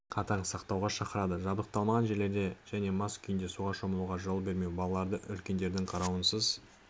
қатаң сақтауға шақырды жабдықталмаған жерлерде және мас күйінде суға шомылуға жол бермеу балаларды үлкендердің қарауынсыз